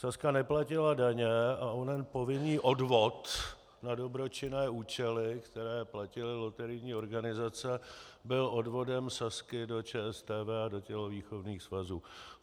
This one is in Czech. Sazka neplatila daně a onen povinný odvod na dobročinné účely, který platily loterijní organizace, byl odvodem Sazky do ČSTV a do tělovýchovných svazů.